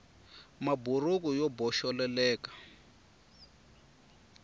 maburuku yo boxeleleka